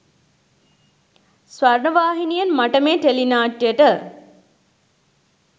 ස්වර්ණවාහිනියෙන් මට මේ ටෙලි නාට්‍යයට